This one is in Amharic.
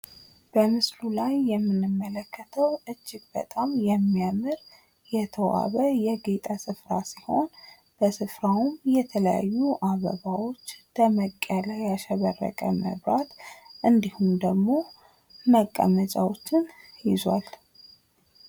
በምስሉ ላይ የምንመለከተው እጅግ በጣም የሚያምር ፣ የተዋበ፣ ያጌጠ ስፍራ ሲሆን፤ በስፍራውም የተለያዩ አበባዎች ፣ ደመቅ ያሉ መብራቶችንና መቀመጫዎችን ይዟል።